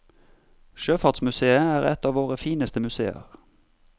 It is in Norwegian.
Sjøfartsmuseet er et av våre fineste museer.